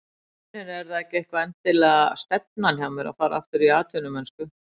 Í rauninni er það ekki eitthvað endilega stefnan hjá mér að fara aftur í atvinnumennsku.